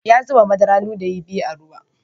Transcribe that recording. Ya zuba madarar ludayi biyu a ruwan.